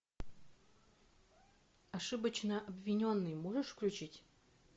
ошибочно обвиненный можешь включить